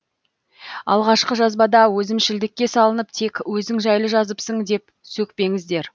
алғашқы жазбада өзімшілдікке салынып тек өзің жайлы жазыпсың деп сөкпеңіздер